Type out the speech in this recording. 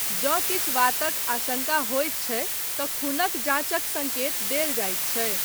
जँ किछु वातक आशंका होइत छै तँ खूनक जाँचक सङ्केत देल जाइत छै।